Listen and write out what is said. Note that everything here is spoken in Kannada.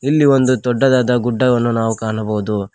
ಇಲ್ಲಿ ಒಂದು ದೊಡ್ಡದಾದ ಗುಡ್ಡವನ್ನು ನಾವು ಕಾಣಬಹುದು.